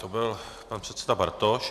To byl pan předseda Bartoš.